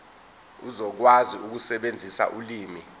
uzokwazi ukusebenzisa ulimi